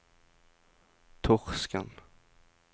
Torsken